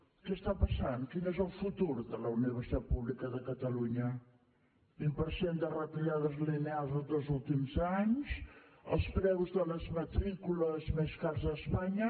què està passant quin és el futur de la universitat pública de catalunya vint per cent de retallades lineals els dos últims anys els preus de les matrícules més cars d’espanya